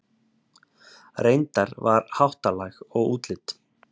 Reyndar var háttalag og útlit